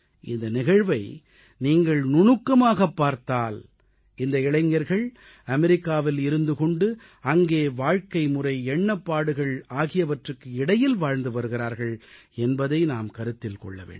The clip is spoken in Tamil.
இந்த நிகழ்வை நீங்கள் நுணுக்கமாகப் பார்த்தால் இந்த இளைஞர்கள் அமெரிக்காவில் இருந்து கொண்டு அங்கே வாழ்க்கைமுறை எண்ணப்பாடுகள் ஆகியவற்றுக்கு இடையில் வாழ்ந்து வருகிறார்கள் என்பதை நாம் கருத்தில் கொள்ள வேண்டும்